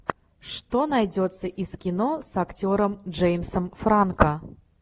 что найдется из кино с актером джеймсом франко